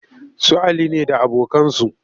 Su Ali ne da abokansu